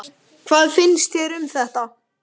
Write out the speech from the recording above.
Hvað finnst þér um þetta?